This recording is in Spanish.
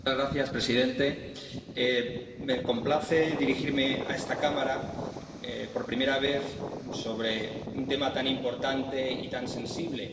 Señor presidente, me complace dirigirme a esta cámara por primera vez sobre un tema tan importante y tan sensible.